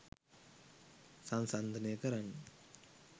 සංසන්දනය කරන්න